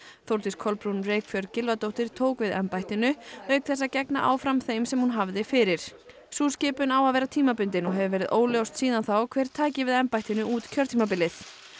Þórdís Kolbrún Reykfjörð Gylfadóttir tók við embættinu auk þess að gegna áfram þeim sem hún hafði fyrir sú skipun á að vera tímabundin og hefur verið óljóst síðan þá hver tæki við embættinu út kjörtímabilið